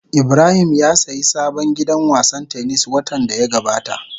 Ibrahim ya sayi sabon gidan wasan tennis watan da ya gabata.